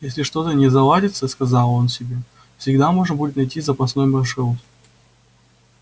если что-то не заладится сказал он себе всегда можно будет найти запасной маршрут